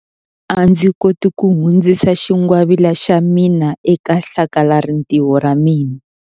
A ndzi koti ku hundzisa xingwavila xa mina eka hlakalarintiho ra ra mina.